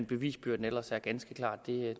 bevisbyrden ellers er ganske klar det